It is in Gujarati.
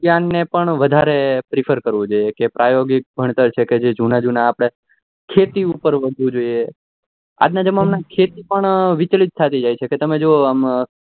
ખેતી જ્ઞાન ને પણ વધારે prefer કરવું જોઈએ કે કે ભણતર છે કે જુના જુના આપડે ખેતી ઉપર વરવું જોઈએ આજના જમાના માં ખેતી પણ વિચલિત થાતી જાય છે